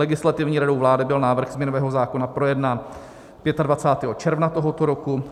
Legislativní radou vlády byl návrh změnového zákona projednán 25. června tohoto roku.